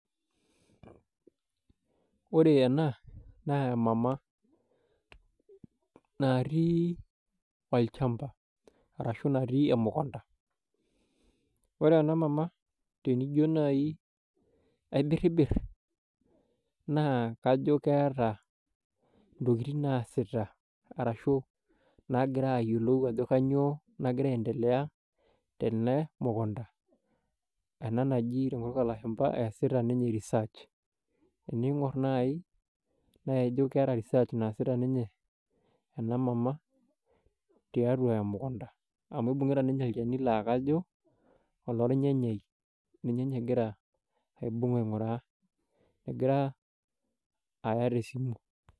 Ore ena naa emama natii olchamba arashu natii emukunta ore ena mama tenijio naaji aibiribir naa kajo keeta ntokitin naasita arashuu naagira ayiolou ajo kanyioo nagira aaendelea tene mukunta ena naji tenkutuk oolashumba eesita ninye research teneing'or naaji naa ijio keeta research naasita ninye ena mama tiatua emukunta amu keeta ninye olchani laa lako oloonyanyai ninye egira aibung aing'uraa egira aya tesimu.